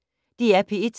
DR P1